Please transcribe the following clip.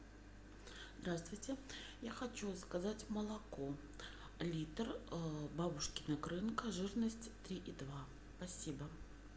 здравствуйте я хочу заказать молоко литр бабушкина крынка жирность три и два спасибо